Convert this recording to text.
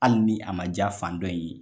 Hali ni a man jaa fan dɔ in ye.